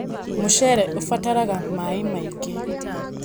Mũcere ũbataraga maĩ maingĩ.